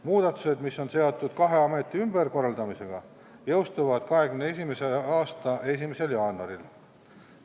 Muudatused, mis on seotud kahe ameti ümberkorraldamisega, jõustuvad 2021. aasta 1. jaanuaril.